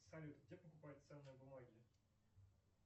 салют где покупают ценные бумаги